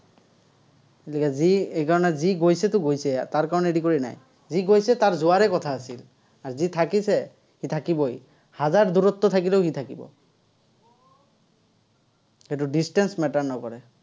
গতিকে, যি সেইকাৰণে যি গৈছেতো গৈছে আৰু। তাৰ কাৰণে কৰি নায়। যি গৈছে, তাৰ যোৱাৰে কথা আছিল। আৰু যি থাকিছে, সি থাকিবই। হাজাৰ দূৰত্বত থাকিলেও সি থাকিব। সেইটো distance matter নকৰে।